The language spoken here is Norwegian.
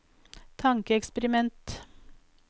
tankeeksperiment